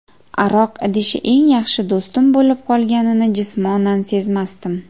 Aroq idishi eng yaxshi do‘stim bo‘lib qolganini jismonan sezmasdim.